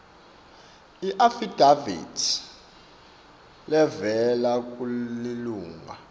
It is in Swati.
iafidavithi levela kulilunga